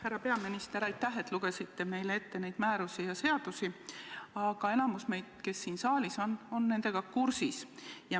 Härra peaminister, aitäh, et lugesite meile ette neid määrusi ja seadusi, aga enamik, kes siin saalis on, on nendega kursis.